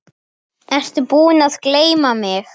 Fanginn vakti mestan áhuga þeirra.